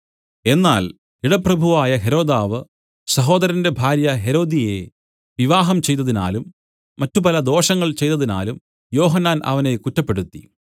എന്നാൽ ഇടപ്രഭുവായ ഹെരോദാവ് സഹോദരന്റെ ഭാര്യ ഹെരോദ്യയെ വിവാഹം ചെയ്തതിനാലും മറ്റുപല ദോഷങ്ങൾ ചെയ്തതിനാലും യോഹന്നാൻ അവനെ കുറ്റപ്പെടുത്തി